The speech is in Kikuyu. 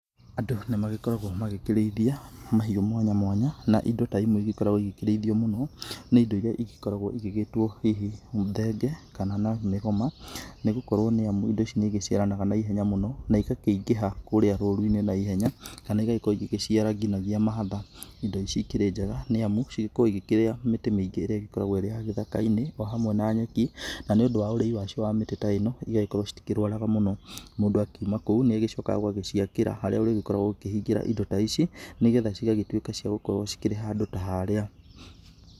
Andũ nĩ magĩkoragwo makĩrĩithia mahiũ mwanya mwanya na indo ta imwe igĩkoragwo igikĩrĩithio mũno nĩ indo iria igĩkoragwo igĩgĩtwo hihi thenge kana na mĩgoma. Nĩ gũkorwo indo ici nĩ iciaranaga na ihenya mũno na igakĩingĩha kũrĩa rũru-inĩ na ihenya kana igagĩkorwo igĩciara ngina mahatha. Indo ici ikĩrĩ njega nĩ amu igĩkoragwo igĩkĩrĩa mĩtĩ mĩingĩ ĩrĩa ĩgĩkoragwo ĩrĩ ya gĩthaka-inĩ o hamwe na nyeki. Na nĩ ũndũ wa ũrĩi wa cio wa mĩtĩ ta ĩno igagĩkorwo citikĩrwaraga mũno. Mũndũ akiuma kũu nĩ ũgĩcokaga ũgagĩciakĩra harĩa ũrĩgĩkoragwo ũkĩhingĩra indo ta ici nĩ getha ciagagĩtuĩka cia gũkorwo cikĩrĩ handũ ta harĩa.